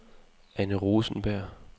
Anne Rosenberg